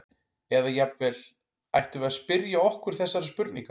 Eða jafnvel: Ættum við að spyrja okkur þessara spurninga?